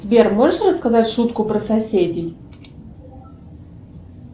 сбер можешь рассказать шутку про соседей